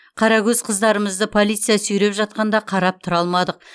қарагөз қыздарымызды полиция сүйреп жатқанда қарап тұра алмадық